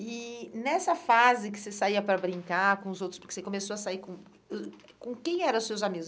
E nessa fase que você saía para brincar com os outros, porque você começou a sair com... Hum, com quem eram seus amigos?